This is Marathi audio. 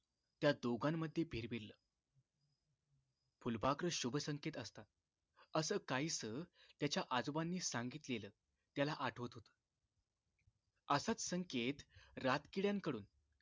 त्या दोघांमध्ये भिरभिरल फुलपाखरू शुभ संकेत असतात अस काहीसं त्याच्या आजोबांनी सांगितलेलं त्याला आठवत होत असाच संकेत रात किडयांकडून